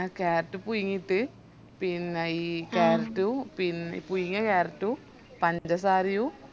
carrot പുയുങ്ങിറ്റ് പിന്നെ ഇ carrot ഉ പിന്ന പുയുങ്ങിയ carrot ഉ പഞ്ചസാരയു